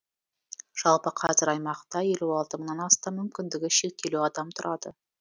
жалпы қазір аймақта елу алты мыңнан астам мүмкіндігі шектеулі адам тұрады